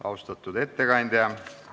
Austatud ettekandja!